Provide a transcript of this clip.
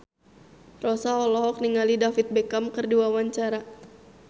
Rossa olohok ningali David Beckham keur diwawancara